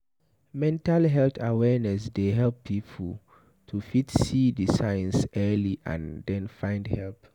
Mental health awareness dey help pipo to fit see di signs early and then find help